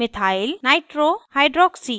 nitro no2हाइड्रॉक्सी oh और